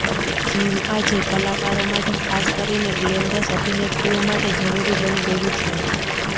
gym આજે કલાકારો માટે ખાસ કરીને ગ્લેમરસ અભિનેત્રીઓ માટે જરૂરી બની ગયું છે